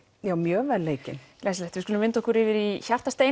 já mjög vel leikin glæsilegt við skulum vinda okkur yfir í